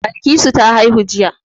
Balkisu ta haihu jiya.